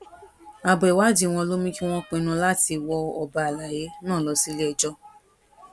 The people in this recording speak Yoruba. abo ìwádìí wọn ló mú kí wọn pinnu láti wọ ọba àlàyé náà lọ síléẹjọ